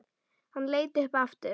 Hann leit upp aftur.